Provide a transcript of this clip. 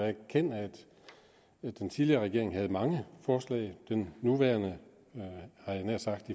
erkende at den tidligere regering havde mange forslag den nuværende havde jeg nær sagt